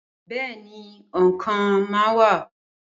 Bẹẹni, òǹkà máa wa